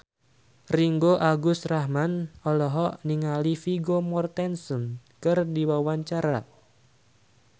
Ringgo Agus Rahman olohok ningali Vigo Mortensen keur diwawancara